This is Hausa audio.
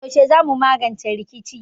Yaushe zamu magance rikicin?